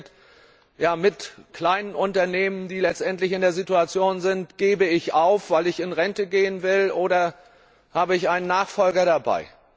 Was passiert mit kleinen Unternehmen, die letztendlich in der Situation sind, gebe ich auf, weil ich in Rente gehen will, oder habe ich einen Nachfolger dabei?